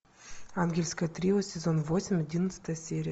ангельское трио сезон восемь одиннадцатая серия